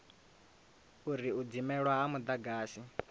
uri u dzimelwa ha mudagasi